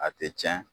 A tɛ tiɲɛ